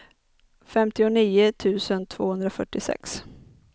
femtionio tusen tvåhundrafyrtiosex